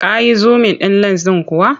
Ka yi zumin ɗin lens ɗin kuwa?